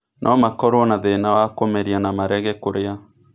No makorũo na thĩĩna wa kũmeria na marege kũrĩa.